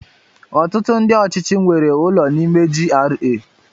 Ọtụtụ ndị ọchịchị nwere ụlọ n'ime GRA.